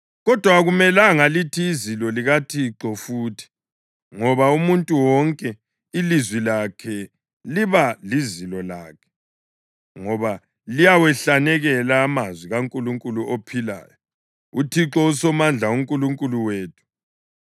Kodwa akumelanga lithi ‘izilo likaThixo’ futhi, ngoba umuntu wonke ilizwi lakhe liba lizilo lakhe ngoba liyawahlanekela amazwi kaNkulunkulu ophilayo, uThixo uSomandla, uNkulunkulu wethu.